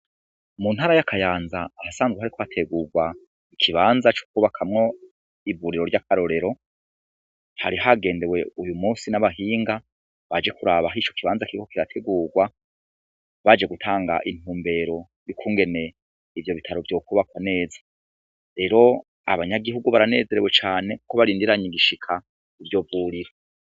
Mu ntara y'akayanza ahasanzwe kariko hategurwa ikibanza coukwubakamwo iburiro ry'akarorero hari hagendewe uyu musi n'abahinga baje kuraba hisho kibanza kiko kirategurwa baje gutanga intumbero ikungene ivyo bitaro vyokubako neza rero abanyagihugu ranezerewe cane uko barindiranye igishika uryo burira.